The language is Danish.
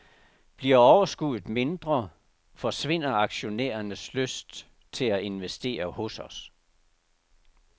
Bliver overskuddet mindre, forsvinder aktionærernes lyst til at investere hos os.